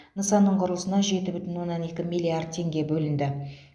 нысанның құрылысына жеті бүтін оннан екі миллиард теңге бөлінді